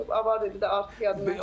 Avar dilində artıq yadımdan çıxıb.